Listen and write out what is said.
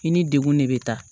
I ni degun de bɛ taa